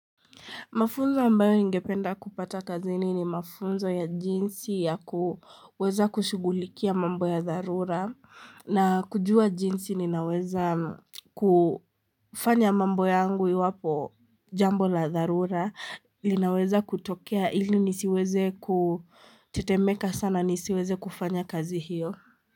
Mafunzo ambayo ningependa kupata kazini ni mafunzo ya jinsi ya kuweza kushughulikia mambo ya dharura na kujua jinsi ninaweza kufanya mambo yangu iwapo jambo la dharura linaweza kutokea ili nisiweze kutetemeka sana nisiweze kufanya kazi hiyo.